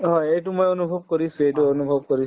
হয়, এইটো মই অনুভৱ কৰিছো এইটো অনুভৱ কৰি